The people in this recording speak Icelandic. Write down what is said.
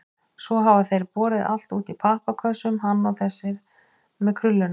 Svo hafa þeir borið allt út í pappakössum, hann og þessi með krullurnar.